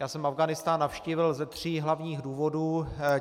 Já jsem Afghánistán navštívil ze tří hlavních důvodů.